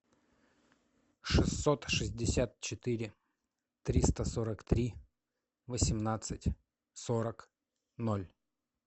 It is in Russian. шестьсот шестьдесят четыре триста сорок три восемнадцать сорок ноль